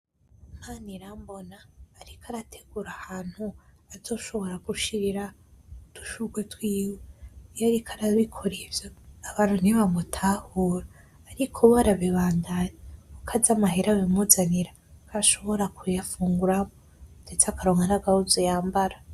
Manirambona ariko arategura ahantu azoshobora gushirira udushurwe twiwe iyo ariko arabikora ivyo abantu ntibamutahura ariko we arabibandanya kuko azi amahera bimuzanira ko ashobora kuyafunguramwo ndetse akaronka n’agahuzu yambara.